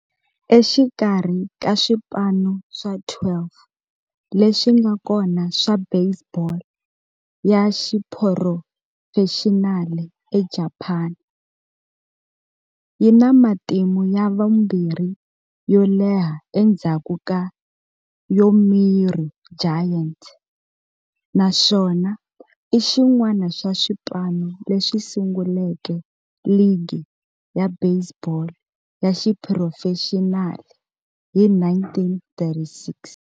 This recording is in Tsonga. Exikarhi ka swipano swa 12 leswi nga kona swa baseball ya xiphurofexinali eJapani, yi na matimu ya vumbirhi yo leha endzhaku ka Yomiuri Giants, naswona i xin'wana xa swipano leswi sunguleke ligi ya baseball ya xiphurofexinali hi 1936.